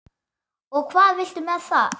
Og hvað viltu með það?